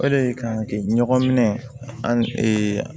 O de kan ka kɛ ɲɔgɔn minɛ an